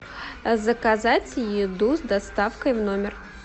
заказать еду с доставкой в номер